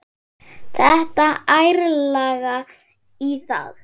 Detta ærlega í það.